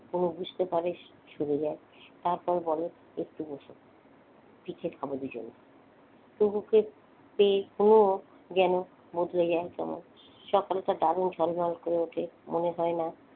হুমু বুঝতে পারে সরে যায় তারপর বলে একটু বসো। পিঠে খাবো দুজনে। টুকুকে পেয়ে হুমুর যেন বদলে যায়। সকালটা দারুন ঝলঝল করে ওঠে মনে হয়না,